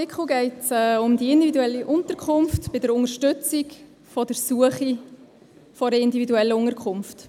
Bei diesem Artikel geht es um die individuelle Unterkunft beziehungsweise um die Unterstützung bei der Suche nach einer individuellen Unterkunft.